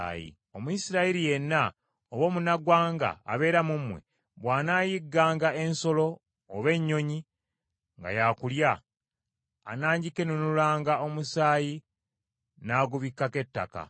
“Omuyisirayiri yenna, oba omunnaggwanga abeera mu mmwe, bw’anaayigganga ensolo oba ennyonyi nga ya kulya, anaagikenenulangamu omusaayi n’agubikkako ettaka,